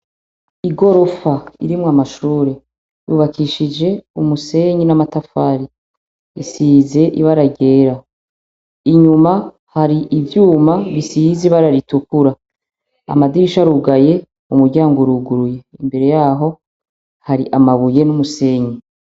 I gorofa irimwo amashure yubakishije umusenyi n'amatafari isize iba aragera inyuma hari ivyuma bisizi bararitukura amadisha arugaye umuryango uruguruye imbere yaho hari amabuye n'umusenyi.